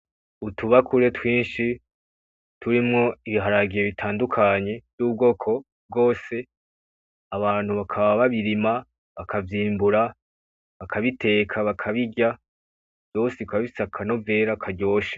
Utubakure twinshi turimwo ibiharage bitandukanye vy’ubwoko bwose abantu bakaba babirima bakavyimbura bakabiteka bakabirya vyose bikaba bifise akanovera karyoshe.